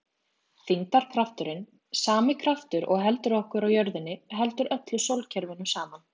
Þyngdarkrafturinn, sami kraftur og heldur okkur á jörðinni, heldur öllu sólkerfinu saman.